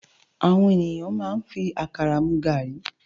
Áwòn éniyán má n fi àkárá mú gári